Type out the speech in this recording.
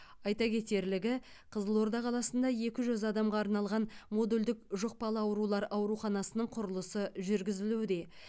айта кетерлігі қызылорда қаласында екі жүз адамға арналған модульдік жұқпалы аурулар ауруханасының құрылысы жүргізілуде